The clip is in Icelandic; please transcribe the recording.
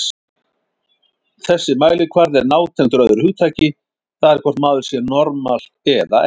Þessi mælikvarði er nátengdur öðru hugtaki, það er hvort maður sé normal eða ekki.